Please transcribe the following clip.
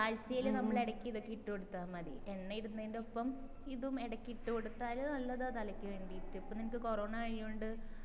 ആഴ്ചയില് നമ്മള് ഇടക്ക് ഇതൊക്കെ ഇട്ടു കൊടുത്ത മതി എണ്ണഇടുന്നെന്റെ ഒപ്പം ഇതും ഇടക്ക് ഇട്ടുകൊടുത്താല് നല്ലതാ തലക്ക് വേണ്ടിയിട്ട് ഇപ്പൊ നിനക്ക് കൊറോണ ആയോണ്ട്